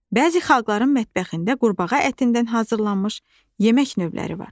Bəzi xalqların mətbəxində qurbağa ətindən hazırlanmış yemək növləri var.